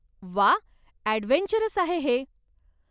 व्वा! ॲडव्हेंचरस आहे हे.